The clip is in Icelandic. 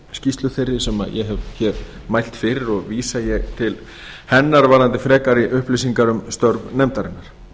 skýrslu þeirri sem ég hef hér mælt fyrir og vísa ég til hennar varðandi frekari upplýsingar um störf nefndarinnar